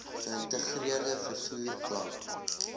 geïntegreerde vervoer plan